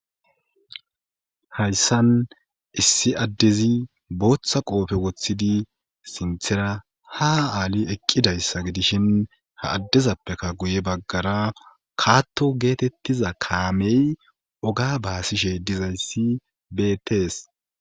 hayssan issi addezi booththa qoofe woththidi sinthera ha aali eqqidayssa gidishin ha addezappekka guye baggara kaatto geetettiza kaamey oga baasishe dizayssi bettees